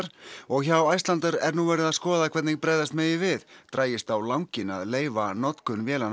og hjá Icelandair er nú verið að skoða hvernig bregðast megi við dragist á langinn að leyfa notkun vélanna